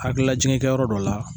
Hakilila jigi kɛ yɔrɔ dɔ la.